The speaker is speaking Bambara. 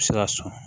Se ka sɔn